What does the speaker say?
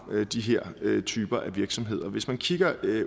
de her typer af virksomheder hvis man kigger